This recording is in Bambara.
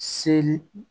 Seli